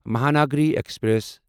Mahanagari express